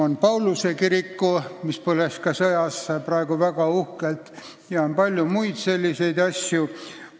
Ka Pauluse kirik, mis samuti sõjas põles, on uhkelt taastatud.